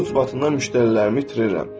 Sənin ucbatından müştərilərimi itirirəm.